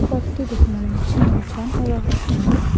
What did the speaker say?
পথটি দেখে মনে হচ্ছে নির্জন ও রহস্যময়।